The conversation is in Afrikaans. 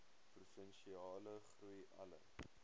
provinsiale groei alle